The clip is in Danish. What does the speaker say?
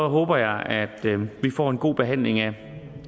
håber jeg at vi får en god behandling af